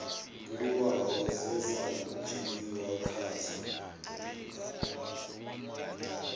buliwaho dze dza dzheniwa khadzo